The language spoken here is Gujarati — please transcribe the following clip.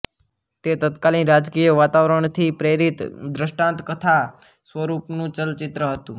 તે તત્કાલીન રાજકીય વાતાવરણથી પ્રેરિત દૃષ્ટાંતકથા સ્વરુપનું ચલચિત્ર હતું